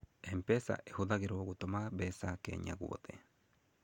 M-Pesa ĩhũthagĩrũo gũtũma mbeca Kenya guothe.